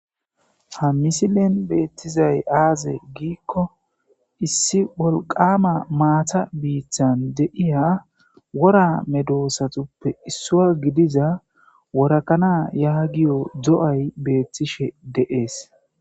ha misilen beettizay aaze giikko issi wolqama maata biithan deiya wora medoosatuppe issua gidiza worakana yaagiyo do7ay beettishe deees